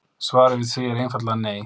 Svarið við því er einfaldlega nei.